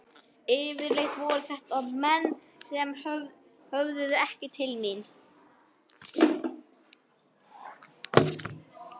Yfirleitt voru þetta menn sem höfðuðu ekki til mín.